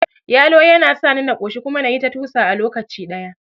Yalo yana sani na ƙoshi kuma nayi ta tusa a lokaci ɗaya